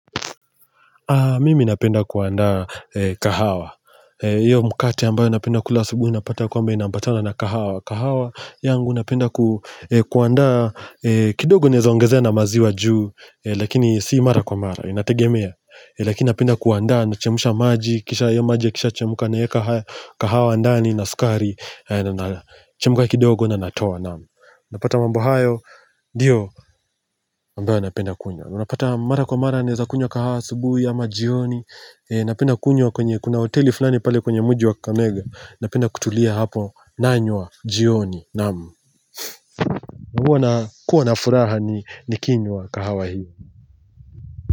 Mimi napenda kuandaa kahawa hiyo mkate ambayo napenda kula asubuhi napata kwamba inaambatana na kahawa, kahawa yangu napenda kuandaa kidogo nezaongezea na maziwa juu Lakini si mara kwa mara inategemea Lakini napenda kuandaa nachemsha maji Kisha hayo maji yakishachemka naeka kahawa ndani na sukari Chemka kidogo na natoa naamu. Napata mambo hayo ndio ambayo napenda kunywa Unapata mara kwa mara naeza kunywa kahawa asubuhi ama jioni Napenda kunywa kwenye kuna hoteli fulani pale kwenye muji wa kakamega Napenda kutulia hapo nanywa jioni naamu, Huwa nakuwa na furaha nikinywa kahawa hiyo.